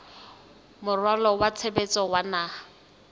moralo wa tshebetso wa naha